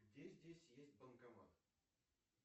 где здесь есть банкомат